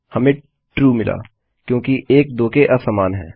हमें ट्रू मिला क्योंकि 1 2 के असमान है